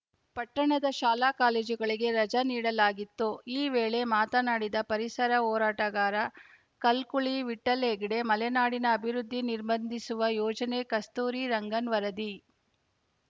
ಪಟ್ಟಣದ ಶಾಲಾಕಾಲೇಜುಗಳಿಗೆ ರಜೆ ನೀಡಲಾಗಿತ್ತು ಈ ವೇಳೆ ಮಾತನಾಡಿದ ಪರಿಸರ ಹೋರಾಟಗಾರ ಕಲ್ಕುಳಿ ವಿಠ್ಠಲ್‌ಹೆಗ್ಡೆ ಮಲೆನಾಡಿನ ಅಭಿವೃದ್ಧಿ ನಿರ್ಬಂಧಿಸುವ ಯೋಜನೆ ಕಸ್ತೂರಿ ರಂಗನ್‌ ವರದಿ